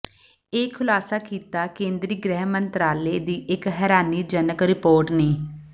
ਇਹ ਖੁਲਾਸਾ ਕੀਤਾ ਕੇਂਦਰੀ ਗ੍ਰਹਿ ਮੰਤਰਾਲੇ ਦੀ ਇੱਕ ਹੈਰਾਨੀਜਨਕ ਰਿਪੋਰਟ ਨੇ